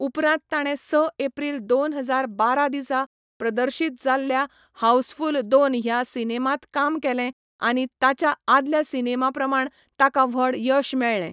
उपरांत ताणें स एप्रील दोन हजार बारा दिसा प्रदर्शीत जाल्ल्या हाऊसफुल दोन ह्या सिनेमांत काम केलें आनी ताच्या आदल्या सिनेमा प्रमाण ताका व्हड यश मेळ्ळें.